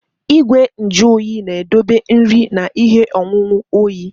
Igwe nju oyi na-edobe nri na ihe ọṅụṅụ oyi.